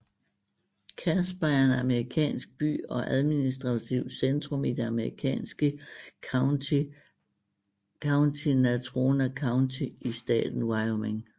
Casper er en amerikansk by og admistrativt centrum i det amerikanske county Natrona County i staten Wyoming